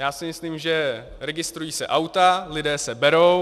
Já si myslím, že registrují se auta, lidé se berou.